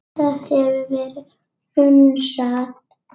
Þetta hefur verið hunsað.